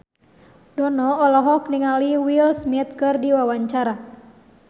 Dono olohok ningali Will Smith keur diwawancara